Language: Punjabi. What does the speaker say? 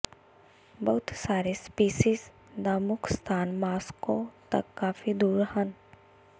ਬਹੁਤ ਸਾਰੇ ਸਪੀਸੀਜ਼ ਦਾ ਮੁੱਖ ਸਥਾਨ ਮਾਸ੍ਕੋ ਤੱਕ ਕਾਫ਼ੀ ਦੂਰ ਹਨ